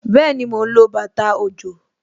Bẹẹni, mo ń lo bàtà òjò